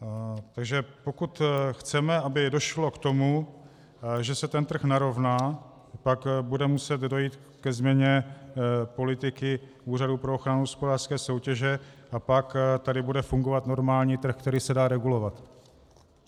Takže pokud chceme, aby došlo k tomu, že se ten trh narovná, tak bude muset dojít ke změně politiky Úřadu pro ochranu hospodářské soutěže, a pak tady bude fungovat normální trh, který se dá regulovat.